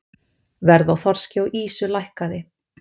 Verð á þorski og ýsu lækkað